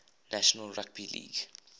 national rugby league